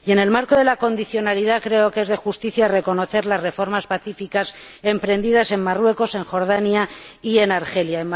Y, en el marco de la condicionalidad, creo que es de justicia reconocer las reformas pacíficas emprendidas en Marruecos, en Jordania y en Argelia.